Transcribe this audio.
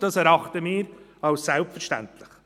dies erachten wir als selbstverständlich.